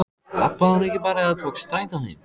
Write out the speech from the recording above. Labbaði hún ekki bara eða tók strætó heim?